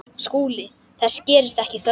SKÚLI: Þess gerist ekki þörf.